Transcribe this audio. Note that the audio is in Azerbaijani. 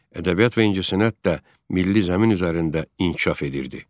Ədəbiyyat və incəsənət də milli zəmin üzərində inkişaf edirdi.